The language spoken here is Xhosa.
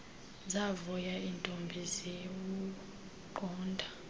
zavuya iintombi ziwuqonda